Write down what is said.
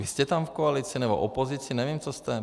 Vy jste tam v koalici, nebo opozici, nevím, co jste.